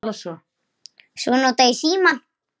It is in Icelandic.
Svo nota ég símann.